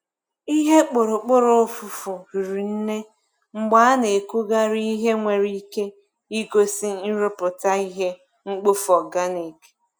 Ihe kpụrụkpụrụ ụfụfụ riri nne mgbe a na-ekugharị ihe nwere ike igosi nrụpụta ihe mkpofu organic.